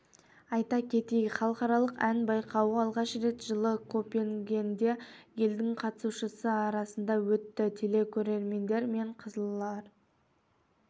айта кетейік халықаралық ән байқауы алғаш рет жылы копенгагенде елдің қатысушысы арасында өтті телекөрермендер мен қазылар